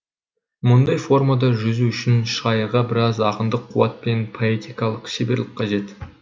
мұндай формада жазу үшін шайырға біраз ақындық қуат пен поэтикалық шеберлік қажет